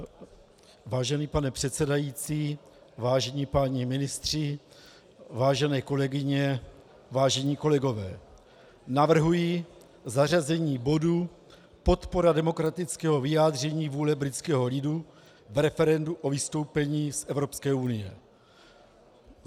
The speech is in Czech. Vážený pane předsedající, vážení páni ministři, vážené kolegyně, vážení kolegové, navrhuji zařazení bodu podpora demokratického vyjádření vůle britského lidu v referendu o vystoupení z Evropské unie.